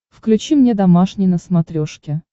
включи мне домашний на смотрешке